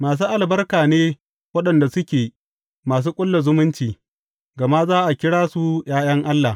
Masu albarka ne waɗanda suke masu ƙulla zumunci, gama za a kira su ’ya’yan Allah.